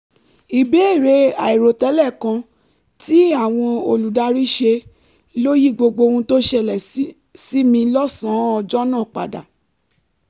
ìbéèrè àìròtẹ́lẹ̀ kan tí àwọn olùdarí ṣe ló yí gbogbo ohun tó ṣẹlẹ̀ sí mi lọ́sàn-án ọjọ́ náà padà